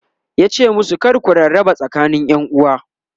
yace musu "kar ku rarraba tsakanin ƴanuwa!"